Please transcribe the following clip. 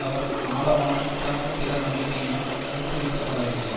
அவர் ஆழமான சித்தாந்த திடநம்பிக்கையினால் ஊக்குவிக்கப்படவில்லை